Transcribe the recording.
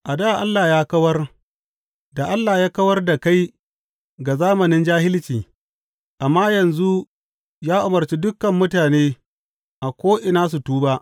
A dā Allah ya kawar da Allah ya kawar da kai ga zamanin jahilci, amma yanzu ya umarci dukan mutane a ko’ina su tuba.